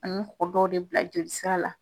dɔ de bila jolisira la.